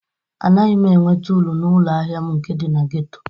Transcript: Anaghị m enweta uru na ụlọ ahịa m nke dị na ghetto.